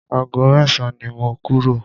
Ago mẹ́san ni mo kúrò.